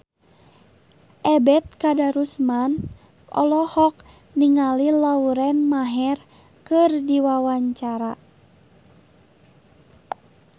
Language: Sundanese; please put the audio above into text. Ebet Kadarusman olohok ningali Lauren Maher keur diwawancara